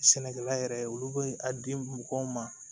Sɛnɛkɛla yɛrɛ olu bɛ a di mɔgɔw ma